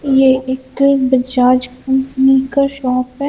यह एक बजाज कंपनी का शॉप है।